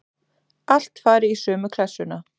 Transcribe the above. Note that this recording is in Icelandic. Allt fari í sömu klessuna.